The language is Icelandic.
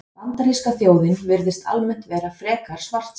Bandaríska þjóðin virðist almennt vera frekar svartsýn.